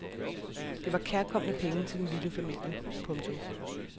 Det var kærkomne penge til den lille familie. punktum